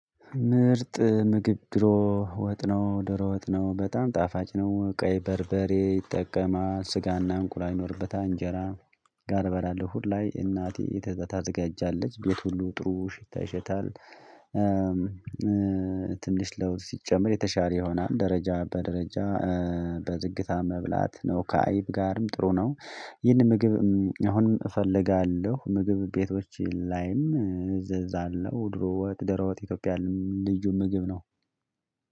ምርጥ ምግብ ድሮ ወጥ ነው ድሮ ወጥ ነው በጣም ጣፋጭ ነው ቀይ በርበሬ ይጠቀማል ስጋና እንቁላል ይኖርበታል እንጀራ ጋር በላለሁ አሁንላይ እናቴ ታዘጋጃለች ቤት ሁሉ ጥሩ ሽታ ይሸታል። ትንሽ ለውዝ ሲጨመር የተሻለ ይሆናል ደረጃ በደረጃ በዝግታ መብላት ነው። ከአይብ ጋርም ጥሩ ነው። ይህን ምግብ አሁን እፈልጋለሁ ምግብ ቤቶች ላይም እዘዛለሁ ድሮ ወጥ ደሮ ወጥ ኢትዮጵያን ልዩ ምግብ ነው